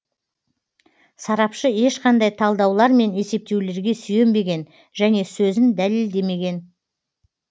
сарапшы ешқандай талдаулар мен есептеулерге сүйенбеген және сөзін дәлелдемеген